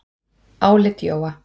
Álit Jóa